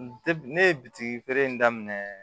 ne ye bitigi feere in daminɛ